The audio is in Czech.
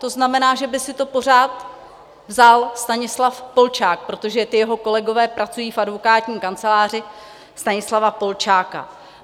To znamená, že by si to pořád vzal Stanislav Polčák, protože ti jeho kolegové pracují v advokátní kanceláři Stanislava Polčáka.